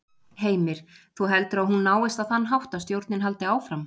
Heimir: Þú heldur að hún náist á þann hátt að stjórnin haldi áfram?